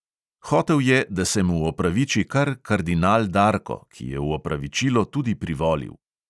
Hotel je, da se mu opraviči kar kardinal darko, ki je v opravičilo tudi privolil.